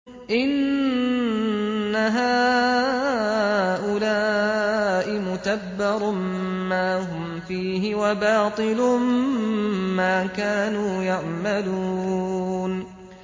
إِنَّ هَٰؤُلَاءِ مُتَبَّرٌ مَّا هُمْ فِيهِ وَبَاطِلٌ مَّا كَانُوا يَعْمَلُونَ